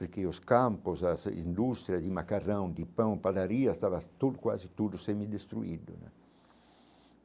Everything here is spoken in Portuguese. Porque os campos, as indústrias de macarrão, de pão, padaria, estava tudo quase tudo semi-destruído né.